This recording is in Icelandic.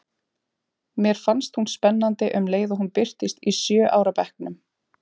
Mér fannst hún spennandi um leið og hún birtist í sjö ára bekknum.